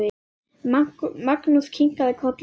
Magnús kinkaði kolli.